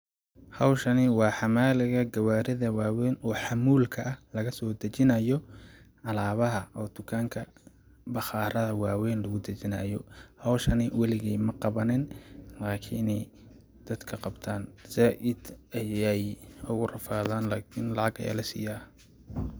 Hawshani waa xamaaliga gawaarida waa weyn oo xamuulka ah lagasoo dajinaayo alaabaha oo tukanka baqaaraha waa weyn lagu dajinaayo ,hawshani waligeey ma qawanin laakini dadka qabtaan zaaid ayeey ugu rafadaan laakin lacag ayaa la siyaa.